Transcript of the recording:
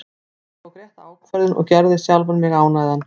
Ég tók rétta ákvörðun og gerði sjálfan mig ánægðan.